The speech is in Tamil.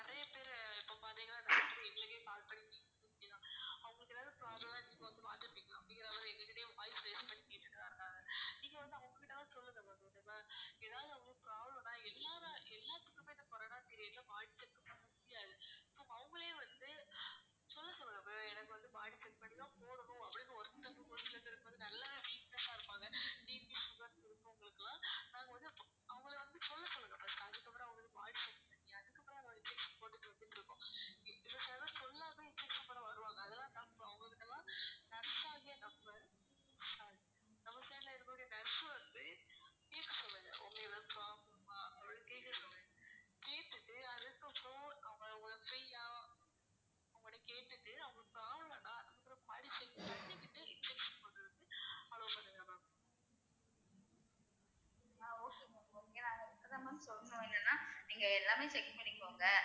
so என்னனா நீங்க எல்லாமே check பண்ணிக்கோங்க